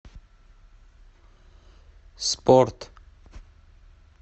спорт